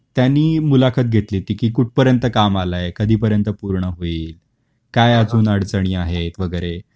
त्यांनी मुलाखत घेतली कि कुठ पर्यंत काम आला आहे, कधी पर्यंत पूर्ण होईल, काय अजून अडचणी आहेत वगैरे